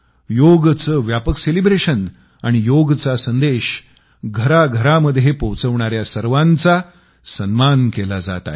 योगचे व्यापक सेलिब्रेशन आणि योगचा संदेश घराघरामध्ये पोहोचवणाऱ्या सर्वांचा सन्मान केला जात आहे